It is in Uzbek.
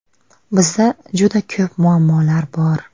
Bizda juda ko‘p muammolar bor.